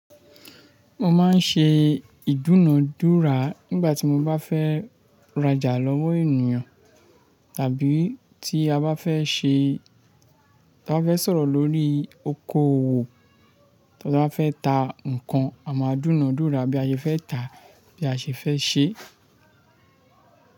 Mo máa ń ṣe ìdúnadúrà nígbà tí mo bá fẹ́ rajà lọ́wọ́ ènìyàn, tàbí tí a bá fẹ́ ṣé, tí a bá fẹ́ sọ̀rọ̀ lórí okoòwò, tí a bá fẹ́ ta nǹkan, a máa dúnadúrà bí a ṣe fẹ́ tà bí a ṣe fẹ́ ṣé.